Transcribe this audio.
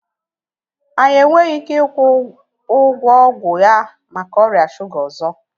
Anyị enweghị ike ịkwụ ụgwọ ọgwụ ya maka ọrịa shuga ọzọ